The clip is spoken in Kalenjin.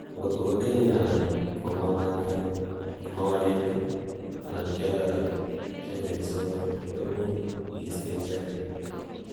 angotkokotenin anan komamaken kyii, anankoiyoso koimuch iiste icheget